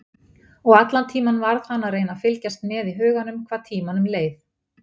Og allan tímann varð hann að reyna að fylgjast með í huganum hvað tímanum leið.